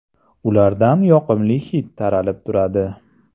Ulardan yoqimli hid taralib turadi.